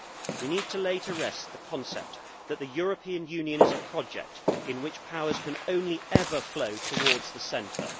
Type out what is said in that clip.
We need to lay to rest the concept that the European Union is a project in which powers can only ever flow towards the centre.